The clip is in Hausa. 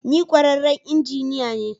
Ni kwararren injiniya ne.